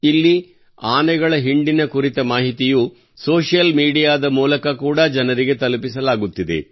ಇಲ್ಲಿ ಆನೆಗಳ ಹಿಂಡಿನ ಕುರಿತ ಮಾಹಿತಿಯು ಸೋಷಿಯಲ್ ಮೀಡಿಯಾದ ಮೂಲಕ ಕೂಡಾ ಜನರಿಗೆ ತಲುಪಿಸಲಾಗುತ್ತಿದೆ